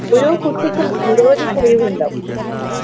ഓരോ കുട്ടിക്കും നിരവധി കഴിവുണ്ടാകും